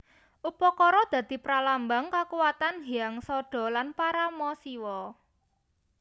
Upakara dadi pralambang kakuwatan Hyang Sadha lan Parama Siwa